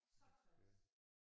Så træls